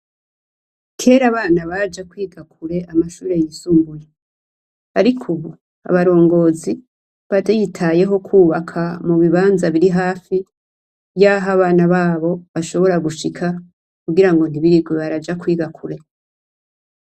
Kera abana Baja kure kwiga amashure yisumbuye, ariko ubu abarongozi baritayeho kwubaka ibibanza biri hafi yaha abana babo bashobora gushika kugira ntibirirwa baraja kwiga kure.